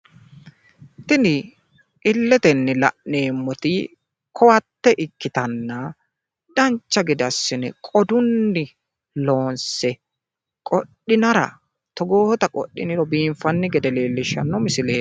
Tini illetenni la'neemmoti ko"atte ikkitanna dancha gede assine qodunni loonse qodhinara togoota qodhiniro biinfanni gede leellishshanno misileeti.